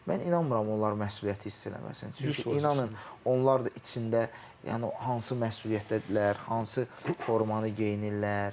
Mən inanmıram onlar məsuliyyəti hiss eləməsin, çünki inanın onlar da içində yəni hansı məsuliyyətdədirlər, hansı formanı geyinirlər.